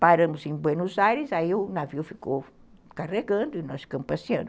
Paramos em Buenos Aires, aí o navio ficou carregando e nós ficamos passeando.